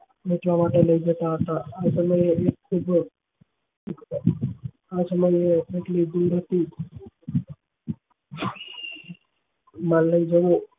વાંચવા માટે લઇ જતા હતા